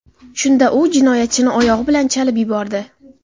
Shunda u jinoyatchini oyog‘i bilan chalib yubordi.